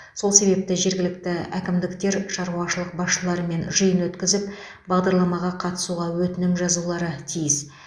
сол себепті жергілікті әкімдіктер шаруашылық басшыларымен жиын өткізіп бағдарламаға қатысуға өтінім жазулары тиіс